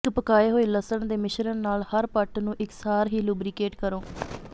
ਇਕ ਪਕਾਏ ਹੋਏ ਲਸਣ ਦੇ ਮਿਸ਼ਰਣ ਨਾਲ ਹਰ ਪੱਟ ਨੂੰ ਇਕਸਾਰ ਹੀ ਲੁਬਰੀਕੇਟ ਕਰੋ